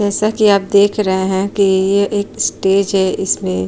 जैसा की आप देख रहे हैं की यह एक स्टेज है इसमें --